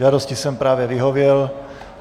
Žádosti jsem právě vyhověl.